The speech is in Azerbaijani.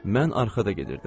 Mən arxada gedirdim.